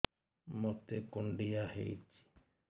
ମୋତେ କୁଣ୍ଡିଆ ହେଇଚି